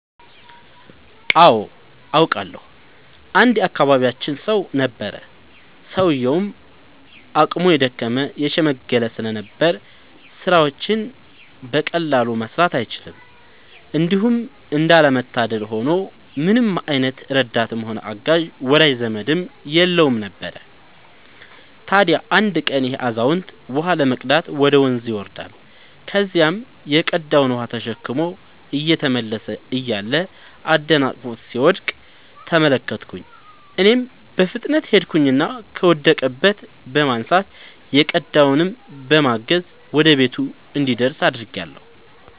አዎ አውቃለሁ። አንድ የአካባቢያችን ሰው ነበረ፤ ሰውዬውም አቅሙ የደከመ የሽምገለ ስለነበር ስራዎችን በቀላሉ መስራት አይችልም። እንዲሁም እንዳለ መታደል ሆኖ ምንም አይነት ረዳትም ሆነ አጋዥ ወዳጅ ዘመድም የለውም ነበር። ታዲያ አንድ ቀን ይሄ አዛውንት ውሃ ለመቅዳት ወደ ወንዝ ይወርዳል። ከዚያም የቀዳውን ውሃ ተሸክሞ እየተመለሰ እያለ አደናቅፎት ሲወድቅ ተመለከትኩኝ እኔም በፍጥነት ሄድኩኝና ከወደቀበት በማንሳት የቀዳውንም በማገዝ ወደ ቤቱ እንዲደርስ አድርጌአለሁ።